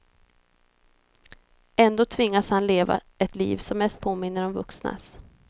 Ändå tvingas han leva ett liv som mest påminner om vuxnas.